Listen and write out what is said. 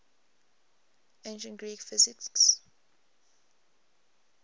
ancient greek physicists